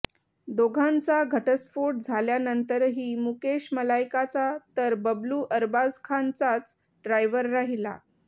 दोघांचा घटस्फोट झाल्यानंतरही मुकेश मलायकाचा तर बबलू अरबाज खानचाच ड्रायव्हर राहिला